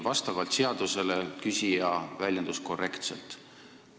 Vastavalt seadusele küsija väljendus korrektselt.